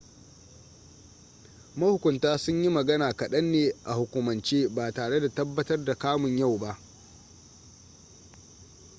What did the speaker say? mahukunta sun yi magana kaɗan ne a hukumance ba tare da tabbatar da kamun yau ba